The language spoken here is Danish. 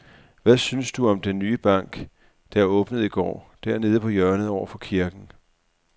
Hvad synes du om den nye bank, der åbnede i går dernede på hjørnet over for kirken?